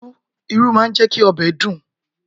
Irú máa ń jẹ́ kí ọbẹ̀ dùn.